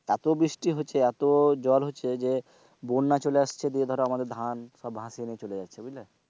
এত বৃষ্টি হচ্ছে এত ঝড় হচ্ছে যে বন্যা চলে আসছে দিয়ে ধর সব ভাসিয়ে নিয়ে চলে যাচ্ছে বুঝলে,